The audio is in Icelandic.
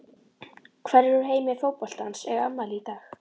Hverjir úr heimi fótboltans eiga afmæli í dag?